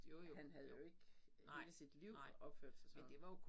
Han havde jo ikke hele sit liv opført sig sådan